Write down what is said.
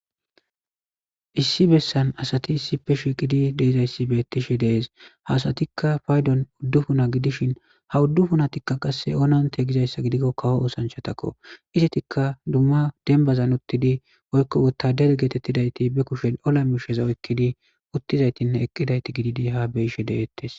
Issi bessan asati issi pe shi qidi deezayssi beettishe dees haasatikka pfaydon uddu puna gidishin ha uddu funatikka qasse ononte gizayssa gidikko kawo oosanchatakko izetikka dumma denbazan uttidi woykko wottader geetettidayti be kushe ola misheza wekkidi uttizaytinne eqqidayti gididi ha beyishe de'ettes.